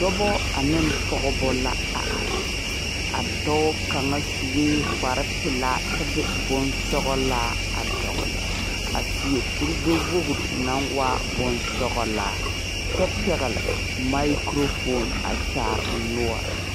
Dɔba ane pɔgeba la a are a dɔɔ kaŋa sue kparepelaa kyɛ de bonsɔglaa a dɔgle a seɛ kurigbɛwogri naŋ waa bonsɔglaa kyɛ pɛgle makurofoni a kyaare o noɔre.